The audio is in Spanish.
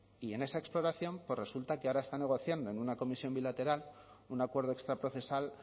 y en esa exploración resulta que ahora está negociando en una comisión bilateral un acuerdo extraprocesal